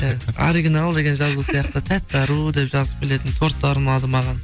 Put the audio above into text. иә оригинал деген жазу сияқты тәтті ару деп жазып келетін торттар ұнады маған